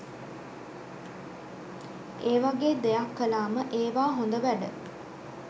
ඒ වගේ දෙයක් කලාම ඒවා හොද වැඩ.